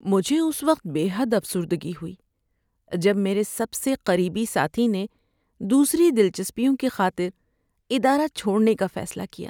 مجھے اس وقت بے حد افسردگی ہوئی جب میرے سب سے قریبی ساتھی نے دوسری دلچسپیوں کی خاطر ادارہ چھوڑنے کا فیصلہ کیا۔